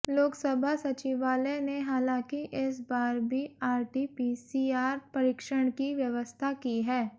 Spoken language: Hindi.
लोकसभा सचिवालय ने हालांकि इस बार भी आरटीपीसीआर परीक्षण की व्यवस्था की है